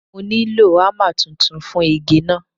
Mo nílò ámà tuntun fún igi náà.